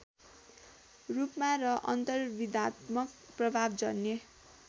रूपमा र अन्तर्विधात्मक प्रभावजन्य